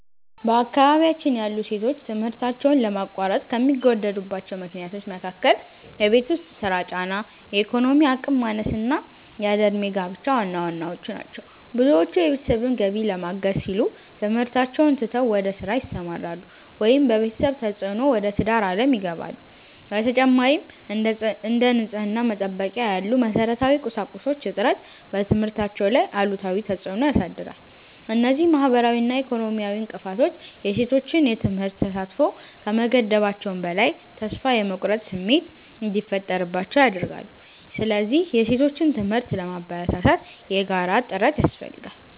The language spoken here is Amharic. በአካባቢያችን ያሉ ሴቶች ትምህርታቸውን ለማቋረጥ ከሚገደዱባቸው ምክንያቶች መካከል የቤት ውስጥ ሥራ ጫና፣ የኢኮኖሚ አቅም ማነስና ያለ ዕድሜ ጋብቻ ዋናዎቹ ናቸው። ብዙዎቹ የቤተሰብን ገቢ ለማገዝ ሲሉ ትምህርታቸውን ትተው ወደ ሥራ ይሰማራሉ፤ ወይም በቤተሰብ ተፅዕኖ ወደ ትዳር ዓለም ይገባሉ። በተጨማሪም፥ እንደ ንጽሕና መጠበቂያ ያሉ መሠረታዊ ቁሳቁሶች እጥረት በትምህርታቸው ላይ አሉታዊ ተፅዕኖ ያሳድራል። እነዚህ ማኅበራዊና ኢኮኖሚያዊ እንቅፋቶች የሴቶችን የትምህርት ተሳትፎ ከመገደባቸውም በላይ፥ ተስፋ የመቁረጥ ስሜት እንዲፈጠርባቸው ያደርጋሉ። ስለዚህ የሴቶችን ትምህርት ለማበረታታት የጋራ ጥረት ያስፈልጋል።